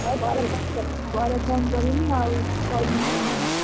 ହଉ ପରେ phone କରିମି ଆଉ କହିମି କଣ ଆଉ।